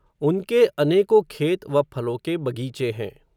उनके, अनेको खेत, व फलो के बग़ीचे हैं